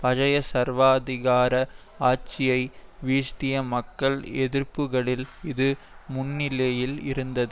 பழைய சர்வாதிகார ஆட்சியை விழ்த்திய மக்கள் எதிர்ப்புக்களில் இது முன்னணியில் இருந்தது